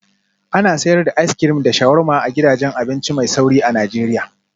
Ana sayar da as crim da sharuwarma a gidajen abinci mai sauri a Najeriya